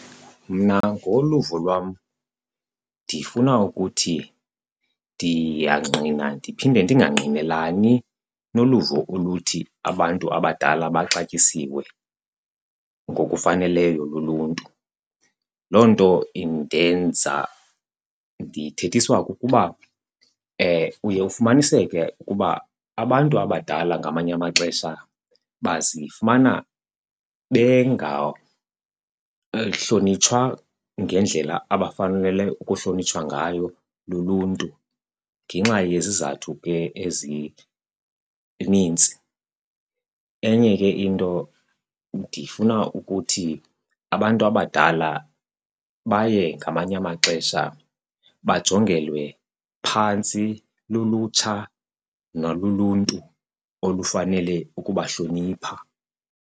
Mna ngokoluvo lwam ndifuna ukuthi ndiyangqina ndiphinde ndingangqinelani noluvo oluthi abantu abadala baxatyisiwe ngokufaneleyo luluntu. Loo nto indenza ndiyithethiswa kukuba uye ufumaniseke ukuba abantu abadala ngamanye amaxesha bazifumana bengahlonitshwa ngendlela abafanele ukuhlonitshwa ngayo luluntu ngenxa yezizathu ke ezinintsi. Enye ke into ndifuna ukuthi abantu abadala baye ngamanye amaxesha bajongelwe phantsi lulutsha naluluntu olufanele ukubahlonipha.